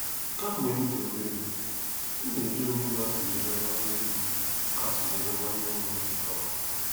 Kemgbe m dị obere, m na-eji onwe m atụnyere nwanne m atụnyere nwanne m nwoke tọrọ m.